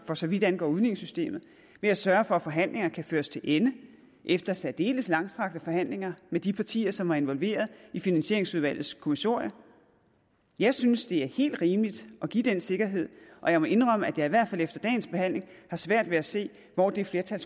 for så vidt angår udligningssystemet ved at sørge for at forhandlingerne kan føres til ende efter særdeles langstrakte forhandlinger med de partier som var involveret i finansieringsudvalgets kommissorium jeg synes det er helt rimeligt at give den sikkerhed og jeg må indrømme at jeg i hvert fald efter dagens behandling har svært ved at se hvor det flertal